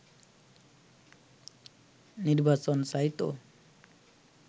নির্বাচন চাইতো